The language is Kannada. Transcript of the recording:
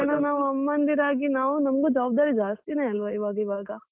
ಅದಕ್ಕೆ ನಾವು ಅಮ್ಮಂದಿರಾಗಿ ನಾವು ನಮಿಗೂ ಜವಾಬ್ದಾರಿ ಜಾಸ್ತಿನೇ ಅಲ್ವ ಇವಾಗ್ ಇವಾಗ.